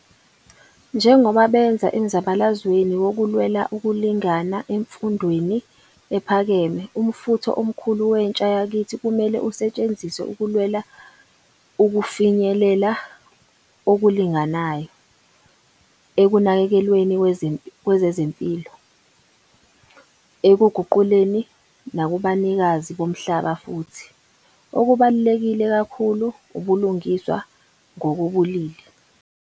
Njengoba benza emzabalazweni wokulwela ukulingana emfundweni ephakeme, umfutho omkhulu wentsha yakithi kumele usetshenziswe ukulwela ukufinyelela okulinganayo ekunakekelweni ngokwezempilo, ekuguquleni nakubunikazi bomhlaba futhi, okubaluleke kakhulu, ubulungiswa ngokobulili.